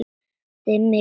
Dimmir í dölum.